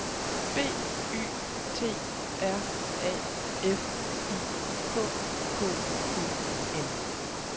B Y T R A F I K K E N